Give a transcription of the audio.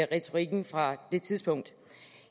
retorikken fra det tidspunkt